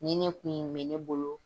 Nin ne kun ye bɛ ne bolo.